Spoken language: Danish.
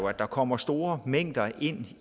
at der kommer store mængder ind